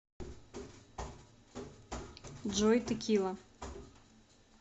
джой текила